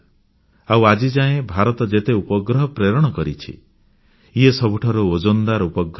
ଆଉ ଆଜିଯାଏ ଭାରତ ଯେତେ ଉପଗ୍ରହ ପ୍ରେରଣ କରିଛି ଇଏ ସବୁଠାରୁ ଓଜନଦାର ଉପଗ୍ରହ ଥିଲା